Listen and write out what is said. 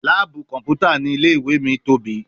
Laabu kọnputa ni ile-iwe mi tobi